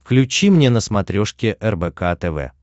включи мне на смотрешке рбк тв